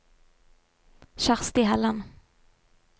Kjersti Helland